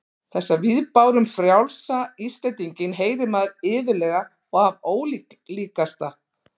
Þessa viðbáru um frjálsa Íslendinginn heyrir maður iðulega og af ólíkasta